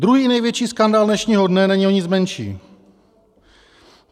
Druhý největší skandál dnešního dne není o nic menší.